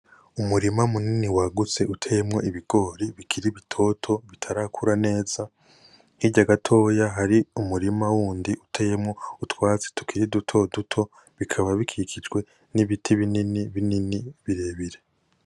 Umurima munini wagutse uteyemwo ibigori bikiri bitoto bitarakura neza, hirya gatoya hari umurima wundi uteyemwo utwatsi tukiri dutoduto bikaba bikikijwe nibiti binini birebire.